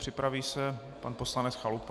Připraví se pan poslanec Chalupa.